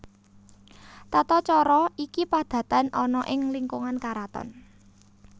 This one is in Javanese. Tata cara iki padatan ana ing lingkungan karaton